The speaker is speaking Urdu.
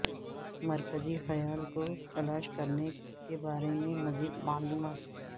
مرکزی خیال کو تلاش کرنے کے بارے میں مزید معلومات